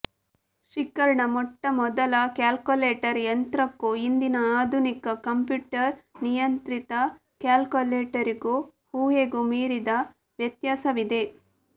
ಶಿಕಾರ್ಡ್ನ ಮೊಟ್ಟಮೊದಲ ಕ್ಯಾಲ್ಕುಲೇಟರ್ ಯಂತ್ರಕ್ಕೂ ಇಂದಿನ ಆಧುನಿಕ ಕಂಪ್ಯೂಟರ್ ನಿಯಂತ್ರಿತ ಕ್ಯಾಲ್ಕುಲೇಟರ್ಗೂ ಊಹೆಗೂ ಮೀರಿದ ವ್ಯತ್ಯಾಸವಿದೆ